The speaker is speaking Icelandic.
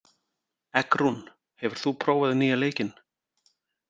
Eggrún, hefur þú prófað nýja leikinn?